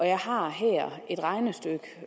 jeg har her et regnestykke